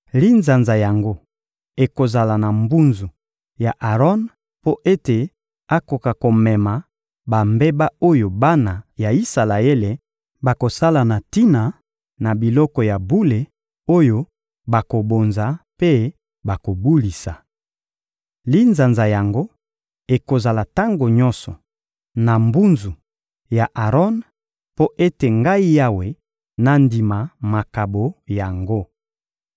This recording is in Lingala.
Linzanza yango ekozala na mbunzu ya Aron mpo ete akoka komema bambeba oyo bana ya Isalaele bakosala na tina na biloko ya bule oyo bakobonza mpe bakobulisa. Linzanza yango ekozala tango nyonso na mbunzu ya Aron mpo ete Ngai Yawe, nandima makabo yango.